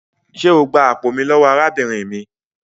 Ṣé o gbà àpò mí lówó arábìnrin mí?